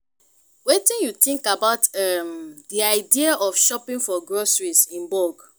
wetin you think about um di idea of shopping for groceries in bulk?